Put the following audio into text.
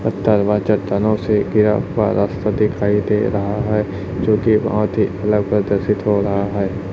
हुआ रास्ता दिखाई दे रहा है जोकि बहोत ही अलग प्रदर्शित हो रहा है।